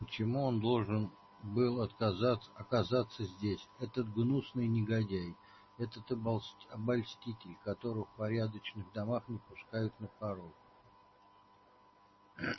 почему он должен был оказаться здесь этот гнусный негодяй этот обольститель которого в порядочных домах не пускают на порог